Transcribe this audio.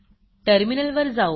टर्मिनलवर जाऊ